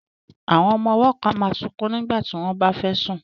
Àwọn ọmọ ọwọ́ kan máa sunkún nígbà tí wọ́n bá fẹ́ sùn